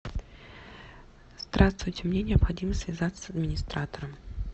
здравствуйте мне необходимо связаться с администратором